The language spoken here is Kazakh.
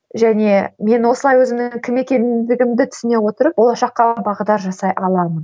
және мен осылай өзімнің кім екенімдігімді түсіне отырып болашаққа бағдар жасай аламын